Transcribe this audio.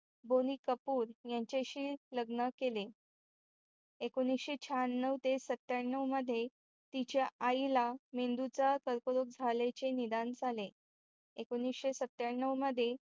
बोनी कपूर यांच्याशी लग्न केले. एकोनिशे शहाण्णव ते सत्याण्णव मध्ये तिच्या आईला मेंदूचे कर्करोग झाल्याचे निधन झाले एकोनिशे सत्याण्णव मध्ये